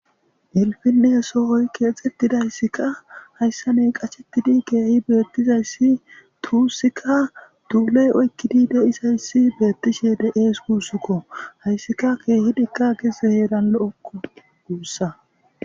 ilfinne soohoy keexettidayssika hayssa ney qachettidi keehi beettizayssi tuussikka duuley oykkidi de7izayssi beettishe de7ees guussukko hayssika keehidikka gese heeran lo7okko guussa